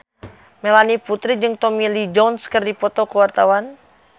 Melanie Putri jeung Tommy Lee Jones keur dipoto ku wartawan